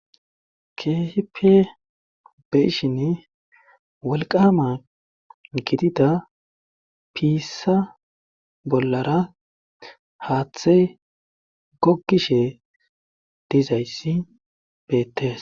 kehipi beshin wolqama gidida piissa bollara haaththey gokkishe dizayssi beettes